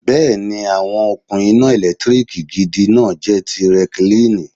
Bẹ́ẹ̀ni, àwọn okùn iná ẹ̀lẹ́tíríkì gidi náà jẹ́ ti Rẹkilinìì